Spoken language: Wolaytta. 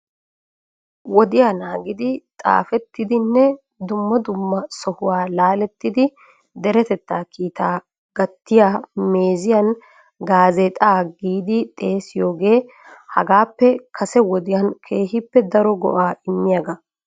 wodiyaa naagidi xaafetidinne dumma dumma sohuwaa laalettidi deretettaa kiita gattiyaa meeziyan gaazexxatgiidi xeessiyooge hagaappe kase wodiyaan keehippe daro go''a immiyaaga.